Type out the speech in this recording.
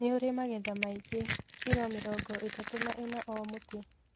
Nĩ ũrĩ magetha maingĩ ( kilo mĩrongo ĩtatu na ĩna o mũtĩ).